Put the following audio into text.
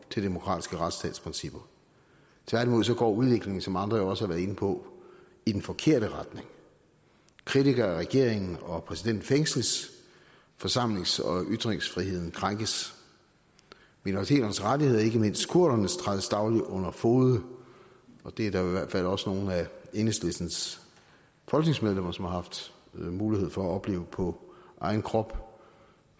til demokratiske retsstatsprincipper tværtimod går udviklingen som andre også har været inde på i den forkerte retning kritikere af regeringen og af præsidenten fængsles forsamlings og ytringsfriheden krænkes minoriteternes rettigheder og ikke mindst kurdernes rettigheder trædes dagligt under fode det er der i hvert fald også nogle af enhedslistens folketingsmedlemmer som har haft mulighed for at opleve på egen krop